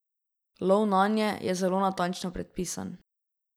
Lov nanje je zelo natančno predpisan.